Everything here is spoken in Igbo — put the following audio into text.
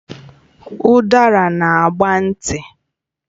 Udara na agba nti